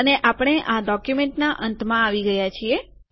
અને આપણે આ ડોક્યુમેન્ટના અંતમાં આવી ગયા છીએ